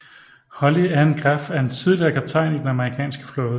Holly Ann Graf er en tidligere kaptajn i Den amerikanske flåde